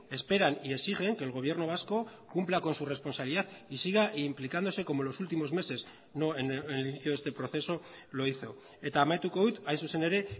esperan y exigen que el gobierno vasco cumpla con su responsabilidad y siga implicándose como en los últimos meses no en el inicio de este proceso lo hizo eta amaituko dut hain zuzen ere